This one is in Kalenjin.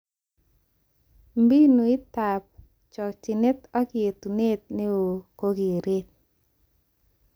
Mbinutab chochinet ak yetunet neo kokeret